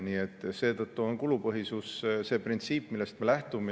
Nii et seetõttu on kulupõhisus see printsiip, millest me lähtume.